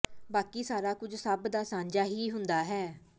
ਬਾਕੀ ਸਾਰਾ ਕੁਝ ਸਭ ਦਾ ਸਾਂਝਾ ਹੀ ਹੁੰਦਾ ਹੈ